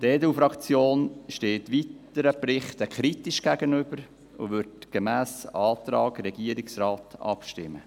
Die EDU-Fraktion steht weiteren Berichten kritisch gegenüber und wird gemäss Antrag Regierungsrat abstimmen.